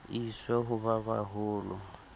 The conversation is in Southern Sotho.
e iswe ho ba baholo